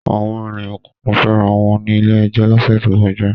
Àwọn ènìyàn kan fẹ́ra wọn ní ilé-ẹjọ́ lọ́sẹ̀ tó kọjá.